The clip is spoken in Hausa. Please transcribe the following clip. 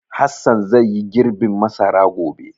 Hassan zai yi girbin masara gobe.